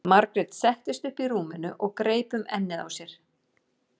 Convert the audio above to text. Margrét settist upp í rúminu og greip um ennið á sér.